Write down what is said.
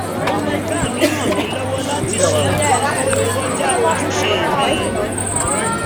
ọ̀gá mi rán mi lọ́wọ́ láti ṣe nǹkan tó kọjá ojúṣe mi